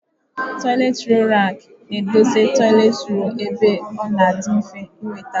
Toịletị rọlụ rakị na edọsa toịletị rọlụ ebe ọ na adị mfe inweta.